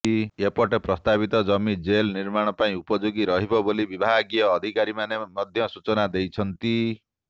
ଏପଟେ ପ୍ରସ୍ତାବିତ ଜମି ଜେଲ ନିର୍ମାଣ ପାଇଁ ଉପଯୋଗୀ ରହିବ ବୋଲି ବିଭାଗୀୟ ଅଧିକାରୀମାନେ ମଧ୍ୟ ସୂଚନା ଦେଇଛନ୍ତି